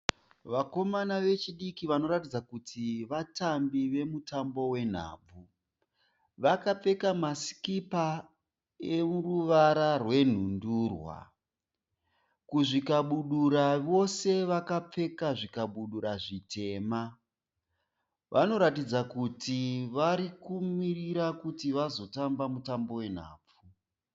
Vakomana vechidiki vanoratidza kuti vatambi vemutambo wenhabvu vakapfeka masikipa eruvara rwenhundurwa kuzvikabudura vose vapfeka zvikabudura zvitema, vanoratidza kuti varikumirira kuti vazotamba mutambo wenhabvu.